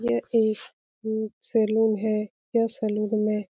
ये एक-एक सैलून है। यह सैलून में --